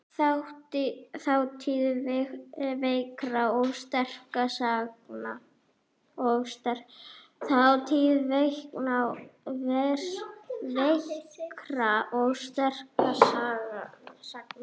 Þátíð veikra og sterkra sagna.